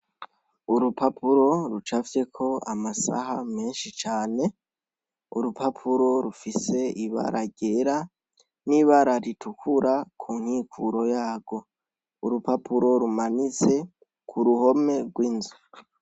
Urupapuro rucafyeko amasaha menshi cane, urupapuro rufise ibara ryera, n'ibara ritukura ku nkikuro yarwo. Urupapuro rumanitse ku ruhome rw'inzu.